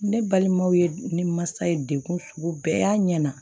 Ne balimaw ye ne masa ye degun sugu bɛɛ y'a ɲɛ na